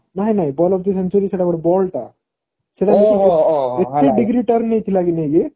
ନାଇଁ ନାଇଁ ball of the century ସେଟା ଗୋଟେ ball ଟା degree turn ନେଇଥିଲା କି ନାହିଁ ନେଇକି